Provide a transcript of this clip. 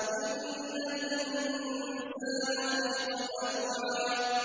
۞ إِنَّ الْإِنسَانَ خُلِقَ هَلُوعًا